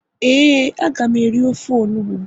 ee, a ga m eri ofe onugbu